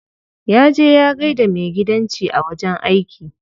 Ya je ya gaida maigidanci a wajen aiki.